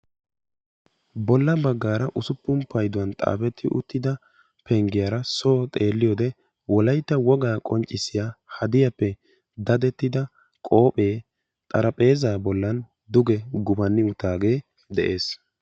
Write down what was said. Bolla baggaara usuppun payduwan xaafetti uttida penggiyara soo xeelliyode Wolaytta wogaa qonccissiya hadiyappe dadettida qoophee xarapheezaa bollan duge gufanni uttaagee de'ees.